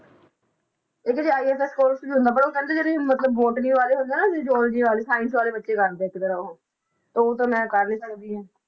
ਇੱਕ ਜੇ course ਵੀ ਹੁੰਦਾ ਪਰ ਉਹ ਕਹਿੰਦੇ ਜਿਹੜੇ ਮਤਲਬ botany ਵਾਲੇ ਹੁੰਦੇ ਆ ਨਾ ਜੋ geology ਵਾਲੇ science ਵਾਲੇ ਬੱਚੇ ਕਰਦੇ ਆ ਇੱਕ ਤਰ੍ਹਾਂ ਉਹ, ਉਹ ਤਾਂ ਮੈਂ ਕਰ ਨੀ ਸਕਦੀ ਹਾਂ।